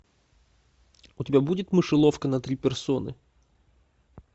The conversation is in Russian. у тебя будет мышеловка на три персоны